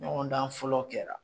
Ɲɔgɔndan fɔlɔ kɛra